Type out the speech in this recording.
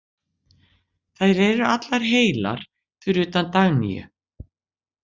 Þær eru allar heilar fyrir utan Dagnýju.